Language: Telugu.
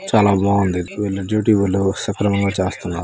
చాలా బాగుంది వీళ్లు జీ_డీ_ఓ లో సెప్లమా మా చేస్తున్నారు.